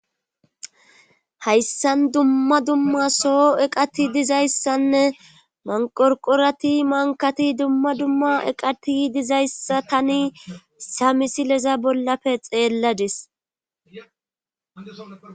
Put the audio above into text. Hayssan dumma dumma soo eqati dizayssanne manqorqorati mankati dumma dumma eqati dizayssa tani sa misileza bollafe xeelladis.